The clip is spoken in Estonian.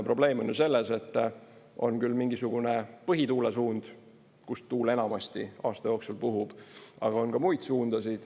Probleem on ju selles, et on küll mingisugune põhituulesuund, kust tuul enamasti aasta jooksul puhub, aga on ka muid suundasid.